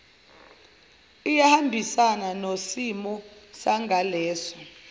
iyahambisana nosimo sangaleso